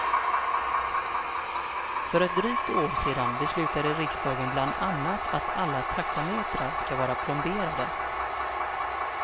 För ett drygt år sedan beslutade riksdagen bland annat att alla taxametrar ska vara plomberade.